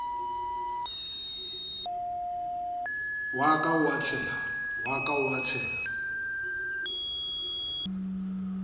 wa ka ba a tsheha